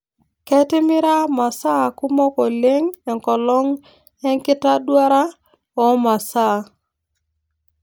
Ketimira masaa kumok oleng' enkolong' enkitaduara oo masaa